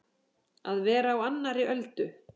Að vera á annarri öldu